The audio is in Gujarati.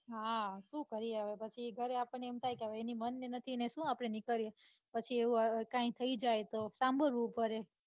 હા સુ કરીયે હવે પછી ગરે આપણને એમ થાય કે એને મન ને નથી ને સુ આપડે નીકળીએ પછી એવું કૈં કે થઇ જાય તો સાંભળવું પડે.